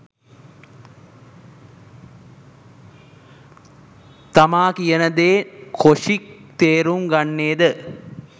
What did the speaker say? තමා කියනදේ කොෂික් තේරුම් ගන්නේ ද